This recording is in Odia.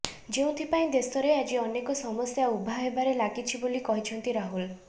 ଯେଉଁଥିପାଇଁ ଦେଶରେ ଆଜି ଅନେକ ସମସ୍ୟା ଉଭା ହେବାରେ ଲାଗିଛି ବୋଲି କହିଛନ୍ତି ରାହୁଲ